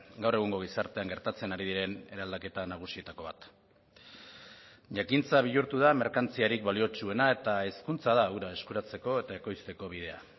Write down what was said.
gaur egungo gizartean gertatzen ari diren eraldaketa nagusietako bat jakintza bihurtu da merkantziarik baliotsuena eta hezkuntza da hura eskuratzeko eta ekoizteko bidea